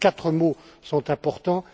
Les quatre mots sont importants.